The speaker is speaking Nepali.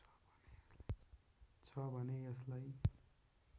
छ भने यसलाई